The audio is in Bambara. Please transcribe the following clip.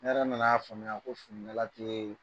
Ne yɛrɛ nana'a faamuya ko ne lakileeen.